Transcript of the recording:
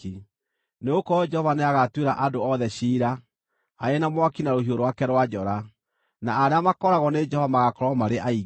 Nĩgũkorwo Jehova nĩagatuĩra andũ othe ciira, arĩ na mwaki na rũhiũ rwake rwa njora, na arĩa makooragwo nĩ Jehova magaakorwo marĩ aingĩ.